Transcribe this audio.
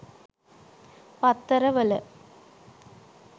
පත්තර වල